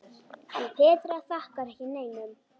En Petra þakkar ekki neinum.